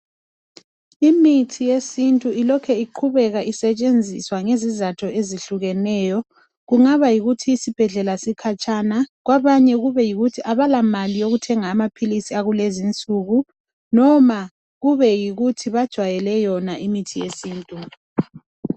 Imithi yesintu ilokhe iqhubeka isetshenziswa ngezizatho ezehlukeneyo, kungaba yikuthi isibhedlela sikhatshana, kwabanye kube yikuthi abalamali yokuthenga, noma yikuthi bajayele yona imithi yesintu.